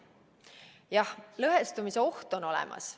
Jah, lõhestumise oht on olemas.